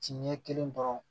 Ci ɲɛ kelen dɔrɔn